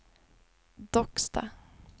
Docksta